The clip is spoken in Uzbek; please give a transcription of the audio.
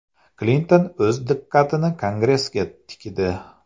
Klinton o‘z diqqatini Kongressga tikdi.